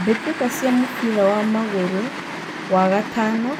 Mbitika cia mũbira wa magũrũ, wa gatano,